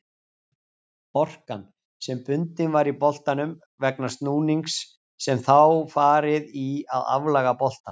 Orkan sem bundin var í boltanum vegna snúningsins hefur þá farið í að aflaga boltann.